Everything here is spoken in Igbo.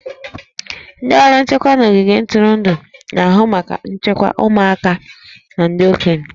Ndị ọrụ nchekwa n'ogige ntụrụndụ na-ahụ maka nchekwa ụmụaka na ndị okenye